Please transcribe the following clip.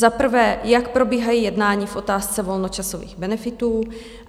Za prvé, jak probíhají jednání v otázce volnočasových benefitů?